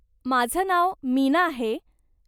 माझं नाव मीना आहे.